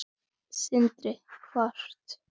Sindri: Hvort?